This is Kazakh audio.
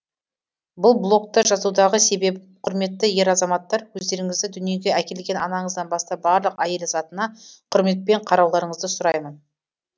бұл блокты жазудағы себебім құрметті ер азаматтар өздеріңізді дүниеге әкелген анаңыздан бастап барлық әйел затына құрметпен қарауларыңызды сұраймын